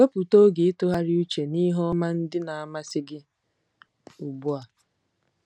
Wepụta oge ịtụgharị uche n'ihe ọma ndị na-amasị gị ugbu a.